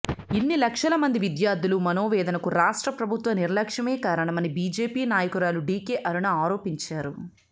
ఇన్ని లక్షల మంది విద్యార్థుల మనోవేదనకు రాష్ట్రప్రభుత్వ నిర్లక్ష్యమే కారణమని బీజేపీ నాయకురాలు డీకే అరుణ ఆరోపించారు